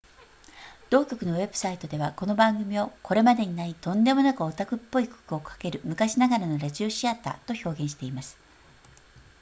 同局のウェブサイトでは、この番組を「これまでにない、とんでもなくオタクっぽい曲をかける昔ながらのラジオシアター！」と表現しています